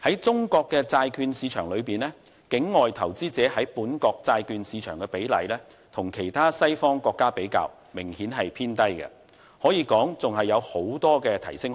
中國債券市場中，境外投資者在本國債券市場的比例與其他西方國家比較明顯偏低，可以說仍有大幅提升空間。